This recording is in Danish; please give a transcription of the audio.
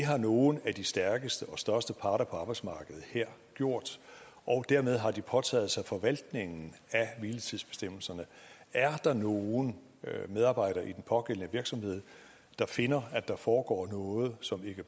har nogle af de stærkeste og største parter på arbejdsmarkedet her gjort og dermed har de påtaget sig forvaltningen af hviletidsbestemmelserne er der nogle medarbejdere i den pågældende virksomhed der finder at der foregår noget som ikke